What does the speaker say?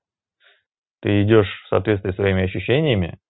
ты идёшь в соответствии со своими ощущениями